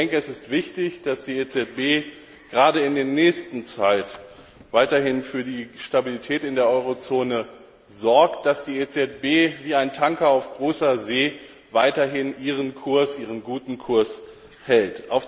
Es ist wichtig, dass die EZB gerade in der nächsten Zeit weiterhin für die Stabilität in der Eurozone sorgt, dass die EZB wie ein Tanker auf hoher See weiterhin ihren guten Kurs hält.